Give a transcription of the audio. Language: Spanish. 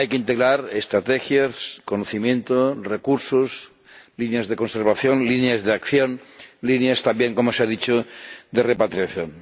Hay que integrar estrategias, conocimiento, recursos, líneas de conservación, líneas de acción, líneas también —como se ha dicho— de repatriación.